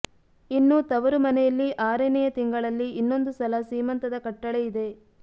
ಇನ್ನು ತವರುಮನೆಯಲ್ಲಿ ಆರನೆಯ ತಿಂಗಳಲ್ಲಿ ಇನ್ನೊಂದು ಸಲ ಸೀಮಂತದ ಕಟ್ಟಳೆ ಇದೆ